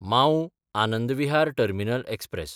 माऊ–आनंद Vihar terminal express